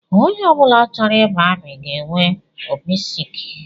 Onye ọ bụla chọrọ ịba amị ga-enwe obisiike